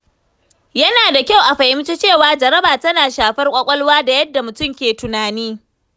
Yana da kyau a fahimci cewa jaraba tana shafar kwakwalwa da yadda mutum ke tunani.